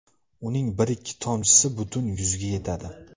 Uning bir ikki tomchisi butun yuzga yetadi.